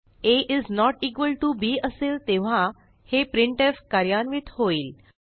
a not equal to b असेल तेव्हा हे प्रिंटफ कार्यान्वित होईल